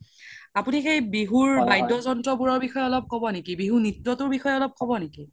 আপোনি সেই বিহুৰ বাদ্য যন্ত্ৰ বোৰৰ বিষসয়ে অলপ কব নেকি বিহুৰ নিত্য তোৰ বিষসয়ে অলপ কব নেকি